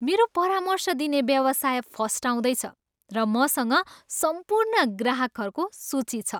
मेरो परामर्श दिने व्यवसाय फस्टाउँदै छ, र मसँग सम्पूर्ण ग्राहकहरूको सूची छ।